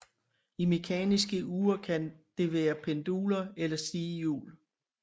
I mekaniske ure kan det være penduler eller et stighjul